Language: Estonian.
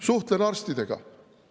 Suhtlen arstidega.